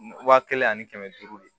Wa kelen ani kɛmɛ duuru de